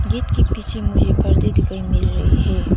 Gate के पीछे मुझे पर्दे दिखाई मिल रही है।